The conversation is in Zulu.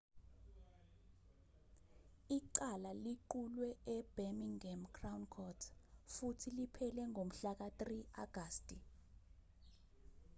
icala liqulwe e-birmingham crown court futhi liphele ngomhlaka-3 agasti